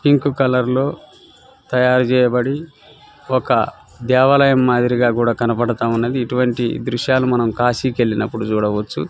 Pink colour లో తయారు చేయబడి ఒక దేవాలయం మదిరిగా కుడా కనపడతున్నది ఇటువంటివి దృశలు మనం కాశికి వెళ్ళినపుడు చూడవచు.